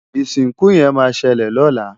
Isinku yen ma sele lola